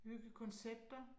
Bygge koncepter